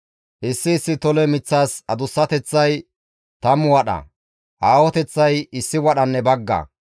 Issi issi tole miththaas adussateththay tammu wadha; aahoteththay issi wadhanne bagga.